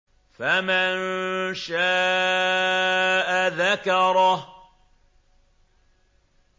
فَمَن شَاءَ ذَكَرَهُ